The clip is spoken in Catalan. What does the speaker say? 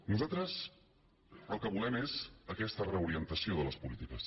nosaltres el que volem és aquesta reorientació de les polítiques